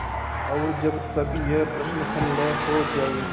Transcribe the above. और जब तक यह प्रश्न हल न हो जाय